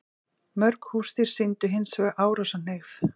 Mörg húsdýr sýndu hins vegar árásarhneigð.